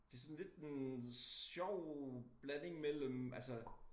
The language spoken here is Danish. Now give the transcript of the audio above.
Det sådan lidt en sjov blanding mellem altså